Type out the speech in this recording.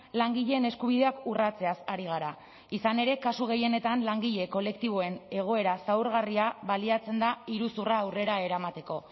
langileen eskubideak urratzeaz ari gara izan ere kasu gehienetan langile kolektiboen egoera zaurgarria baliatzen da iruzurra aurrera eramateko